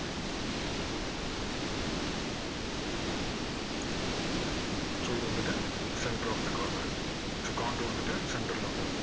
so இது வந்துட்டு centre of the corner உ so counter வந்துட்டு centre ல வந்துடும்.